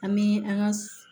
An bɛ an ka